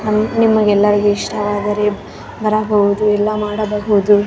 ಇತರಾ fest ಗಳೆಲ್ಲ ಇರುತ್ತಲ್ವ church ಇದು ಆತರದ್ದು ಏನೋ ಕಾಣಸುತ್ತೆ ಇದು .